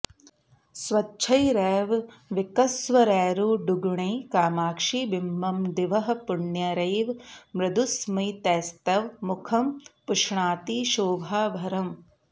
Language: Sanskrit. स्वच्छैरेव विकस्वरैरुडुगुणैः कामाक्षि बिम्बं दिवः पुण्यैरेव मृदुस्मितैस्तव मुखं पुष्णाति शोभाभरम्